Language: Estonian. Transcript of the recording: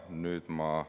Nüüd ma …